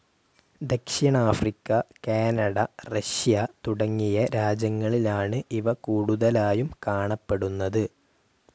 ദക്ഷിണാഫ്രിക്ക, Canada, Russia തുടങ്ങിയ രാജ്യങ്ങളിലാണ് ഇവ കൂടുതലായും കാണപ്പെടുന്നത്.